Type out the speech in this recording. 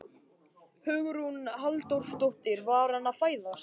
Hugrún Halldórsdóttir: Var hann að fæðast?